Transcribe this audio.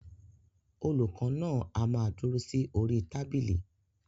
Olùkọ náà a má dúró sí orí tábìlì.